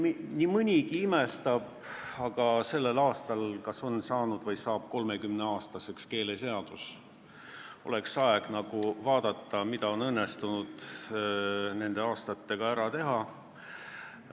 Nii mõnigi imestab selle üle, aga sellel aastal saab keeleseadus 30-aastaseks ja oleks aeg vaadata, mida on õnnestunud nende aastatega ära teha.